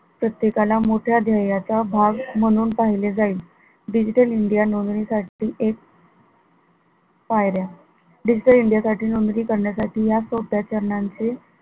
प्रत्येकाला मोठ्या ध्येयाचा भाग म्हणून पहिले जाईल digital india नोंदणी साठी एक पायऱ्या digital india चे नोंदणी करण्यासाठी या सोप्या चरणांचे,